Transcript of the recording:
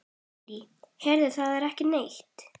Lillý: Heyrið þið ekki neitt?